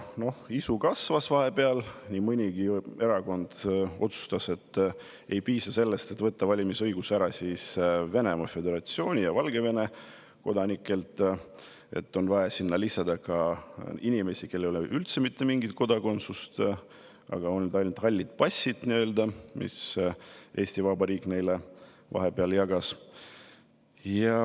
Noh, isu vahepeal kasvas ja nii mõnigi erakond otsustas, et ei piisa sellest, kui võtta valimisõigus ära Venemaa Föderatsiooni ja Valgevene kodanikelt, vaid on vaja ka inimestelt, kellel ei ole üldse mitte mingit kodakondsust, on ainult nii-öelda hallid passid, mida Eesti Vabariik neile vahepeal jagas.